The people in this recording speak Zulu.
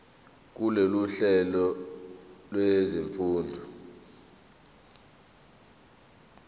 kulolu hlelo lwezifundo